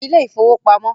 Pe ilé ìfowópamọ́